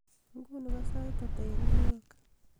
inguni ko sait ata en new york